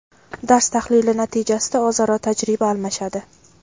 dars tahlili natijasida o‘zaro tajriba almashadi;.